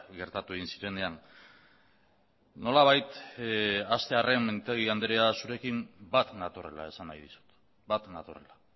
gertatu egin zirenean nolabait hastearren mintegi andrea zurekin bat natorrela esan nahi dizut bat natorrela